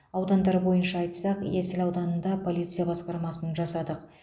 аудандар бойынша айтсақ есіл ауданында полиция басқармасын жасадық